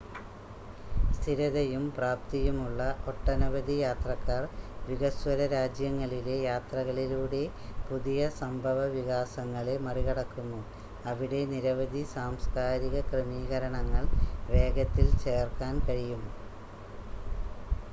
സ്ഥിരതയും പ്രാപ്തിയുമുള്ള ഒട്ടനവധി യാത്രക്കാർ വികസ്വര രാജ്യങ്ങളിലെ യാത്രകളിലൂടെ പുതിയ സംഭവവികാസങ്ങളെ മറികടക്കുന്നു അവിടെ നിരവധി സാംസ്ക്കാരിക ക്രമീകരണങ്ങൾ വേഗത്തിൽ ചേർക്കാൻ കഴിയും